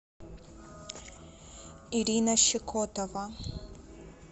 ирина щекотова